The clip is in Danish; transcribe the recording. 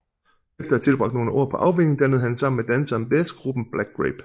Efter at have tilbragt nogle år på afvænning dannede han sammen med danseren Bez gruppen Black Grape